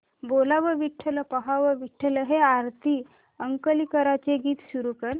बोलावा विठ्ठल पहावा विठ्ठल हे आरती अंकलीकरांचे गीत सुरू कर